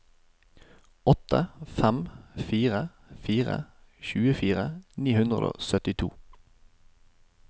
åtte fem fire fire tjuefire ni hundre og syttito